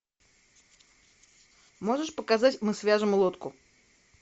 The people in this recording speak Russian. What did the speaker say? можешь показать мы свяжем лодку